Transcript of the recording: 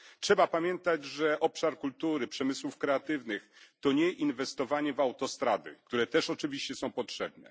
Trzeba pamiętać, że obszar kultury, przemysłów kreatywnych, to nie inwestowanie w autostrady, które też oczywiście są potrzebne.